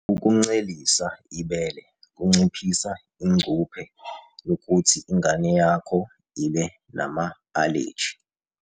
Ukuncelisa ibele kunciphisa ingcuphe yokuthi ingane yakho ibe nama-aleji.